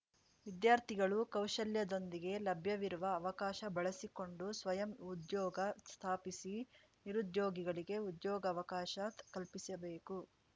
ವಿದ್ಯಾರ್ಥಿಗಳು ಕೌಶಲ್ಯದೊಂದಿಗೆ ಲಭ್ಯವಿರುವ ಅವಕಾಶ ಬಳಸಿಕೊಂಡು ಸ್ವಯಂ ಉದ್ಯೋಗ ಸ್ಥಾಪಿಸಿ ನಿರುದ್ಯೋಗಿಗಳಿಗೆ ಉದ್ಯೋಗಾವಕಾಶ ಕಲ್ಪಿಸಬೇಕು